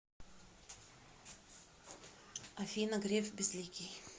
афина греф безликий